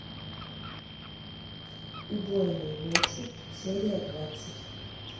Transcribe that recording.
убойные ночи серия двадцать